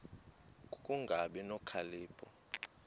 ku kungabi nokhalipho